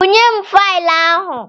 Bunyem faịlụ ahụ!